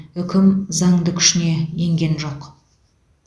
үкім заңды күшіне енген жоқ